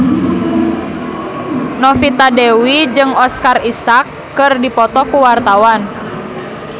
Novita Dewi jeung Oscar Isaac keur dipoto ku wartawan